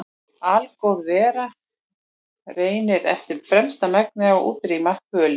Algóð vera reynir eftir fremsta megni að útrýma böli.